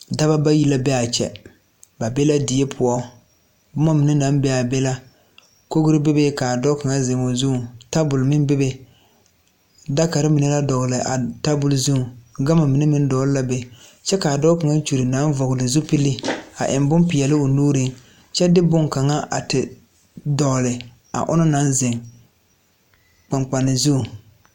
Dɔbɔ bayi la bee kyɛ ba be la die poɔ bomma mine naŋ bee be la kogre bebe kaa dɔɔ kaŋa zeŋ o zuŋ tabol meŋ bebe dakarre mine la dɔgle tabol zuŋ gama mine meŋ dɔgle la be kyɛb kaa dɔɔ kaŋa kyure na vɔgle zupile a eŋ bon peɛɛle o nuuriŋ kyɛ de bonkaŋa a te dɔgle a onɔŋ naŋ zeŋ kpaŋkpane zuŋ.